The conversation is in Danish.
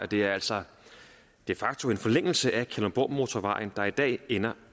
det er altså de facto en forlængelse af kalundborgmotorvejen der i dag ender